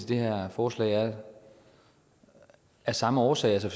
det her forslag er af samme årsag altså